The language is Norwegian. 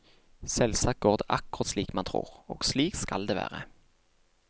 Selvsagt går det akkurat slik man tror, og slik skal det være.